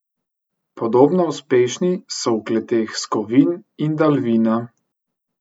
Podobno uspešni so v kleteh Skovin in Dalvina.